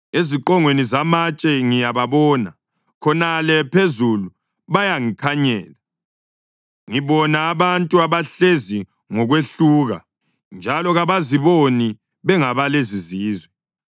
Eziqongweni zamatshe ngiyababona, khonale phezulu bayangikhanyela. Ngibona abantu abahlezi ngokwehluka, njalo kabaziboni bengabalezizizwe.